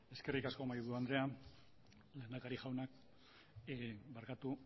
eskerrik asko mahaiburu andrea lehendakari jauna barkatu